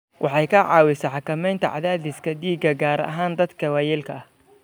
Waxay ka caawisaa xakamaynta cadaadiska dhiigga, gaar ahaan dadka waayeelka ah.